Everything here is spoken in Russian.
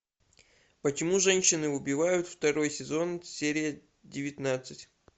почему женщины убивают второй сезон серия девятнадцать